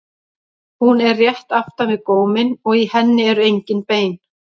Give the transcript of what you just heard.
Hún er rétt aftan við góminn og í henni eru engin bein.